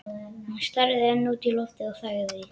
Hann starði enn út í loftið og þagði.